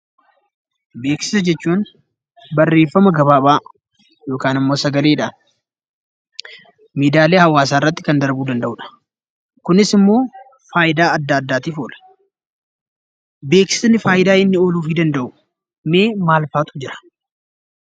Beeksisa jechuun barreeffama gabaabaa yokaan immoo sagaleedhaan miidiyaalee hawaasaarratti kan darbuu danda'udha. Kunis immoo faayidaa adda addaatif oola. Beeksisni faayidaa inni ooluufii danda'u mee maalfaatu jira?